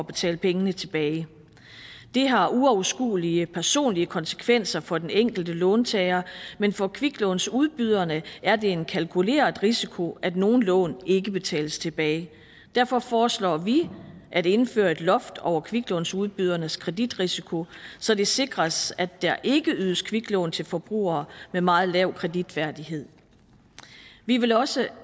betale pengene tilbage det har uoverskuelige personlige konsekvenser for den enkelte låntager men for kviklånsudbyderne er det en kalkuleret risiko at nogle lån ikke betales tilbage derfor foreslår vi at indføre et loft over kviklånsudbydernes kreditrisiko så det sikres at der ikke ydes kviklån til forbrugere med meget lav kreditværdighed vi vil også